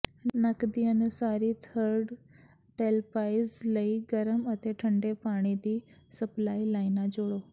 ਨੱਕ ਦੀ ਅਨੁਸਾਰੀ ਥਰਿੱਡ ਟੇਲਪਾਈਸਜ਼ ਲਈ ਗਰਮ ਅਤੇ ਠੰਡੇ ਪਾਣੀ ਦੀ ਸਪਲਾਈ ਲਾਈਨਾਂ ਜੋੜੋ